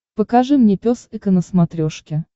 покажи мне пес и ко на смотрешке